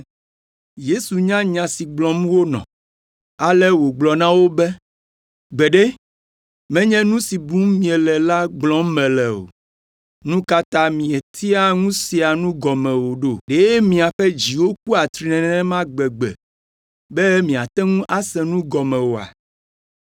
Yesu nya nya si gblɔm wonɔ, ale wògblɔ na wo be, “Gbeɖe, menye nu si bum miele la gblɔm mele o! Nu ka ta mietea ŋu sea nu gɔme o ɖo? Ɖe miaƒe dziwo ku atri nenema gbegbe be miate ŋu ase nu gɔme oa?